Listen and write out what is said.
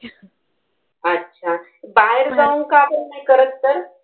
अच्छा. बाहेर जाऊ का आपण नाही करत तर.